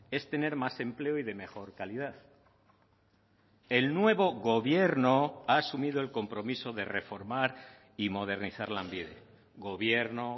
es tener más empleo y de mejor calidad el nuevo gobierno ha asumido el compromiso de reformar y modernizar lanbide gobierno